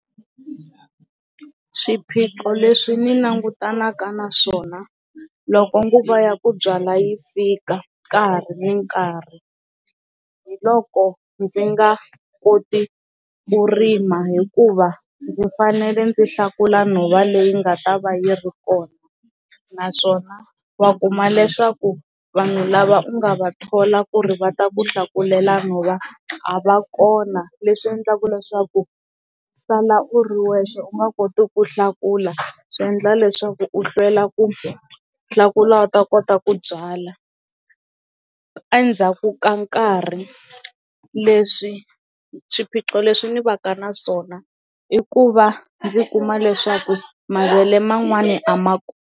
Swiphiqo leswi ni langutanaka na swona loko nguva ya ku byala yi fika ka ha ri nkarhi hi loko ndzi nga koti ku rima hikuva ndzi fanele ndzi hlakula nhova leyi nga ta va yi ri kona naswona va kuma leswaku vanhu lava nga va thola ku ri va ta ku hlakulela nhova a va kona leswi endlaka leswaku sala u ri wexe u nga koti ku hlakula swi endla leswaku u hlwela ku hlakula u ta kota ku byala endzhaku ka nkarhi leswi swiphiqo leswi ni va ka na swona i ku va ndzi kuma leswaku mavele man'wani a ma ku.